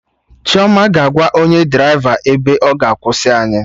Chioma ga-agwa onye draịva ebe ọ ga-akwụsị anyị